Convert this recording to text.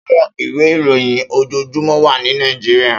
Áwòn iwé iróyin ójójúmò wà ni Nàijiriá